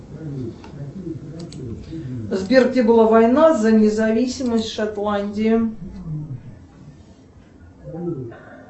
сбер где была война за независимость шотландии